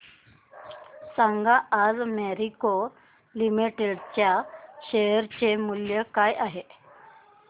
सांगा आज मॅरिको लिमिटेड च्या शेअर चे मूल्य काय आहे